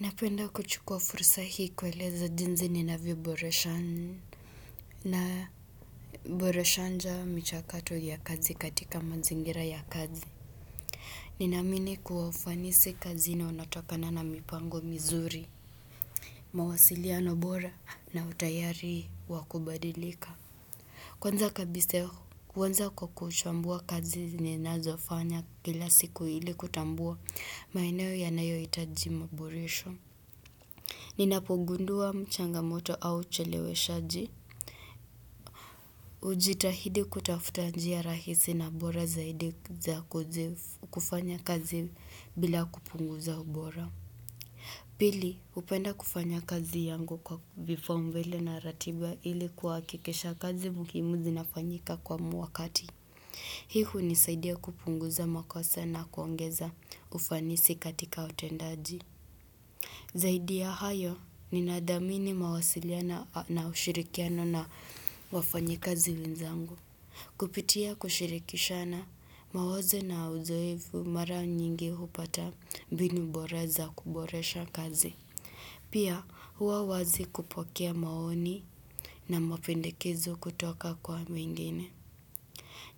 Napenda kuchukua fursa hii kueleza jinsi ninavyo boresha. Na boresha njaa michakato ya kazi katika mazingira ya kazi. Ninaamini kwa ufanisi kazi na unatokana na mipango mizuri. Mawasiliano bora na utayari wakubadilika. Kwanza kabisa kwanza kwa kuchambua kazi ninazofanya kila siku ili kutambua maeneo ya nayo hitaji maboresho. Ninapogundua changamoto au chelewe shaji. Hujitahidi kutafuta njia rahisi na bora zaidi za kufanya kazi bila kupunguza ubora. Pili, hupenda kufanya kazi yangu kwa vipaumbele na ratiba ili kuhakikisha kazi muhimu zinafanyika kwa wakati. Hii hunisaidia kupunguza makosa na kuongeza ufanisi katika utendaji. Zaidi ya hayo ninathamini mawasiliano na ushirikiano na wafanyakazi wenzangu. Kupitia kushirikishana mawazo na uzoevu mara nyingi hupata mbinu bora za kuboresha kazi. Pia huwa wazi kupokea maoni na mapendekezo kutoka kwa mwingine.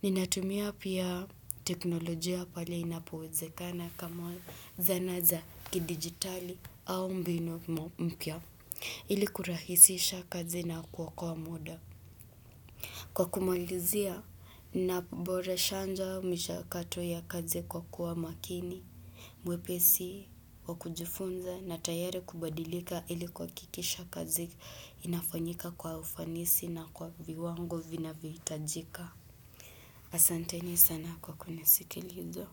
Ninatumia pia teknolojia pale inapowezekana kama zana za kidigitali au mbinu mpya ili kurahisisha kazi na kuokoa muda. Kwa kumalizia, ninaboresha njaa michakato ya kazi kwa kuwa makini, mwepesi, wakujifunza na tayari kubadilika ili kuhakikisha kazi inafanyika kwa ufanisi na kwa viwango vinavyo hitajika. Asanteni sana kwa kunisikiliza.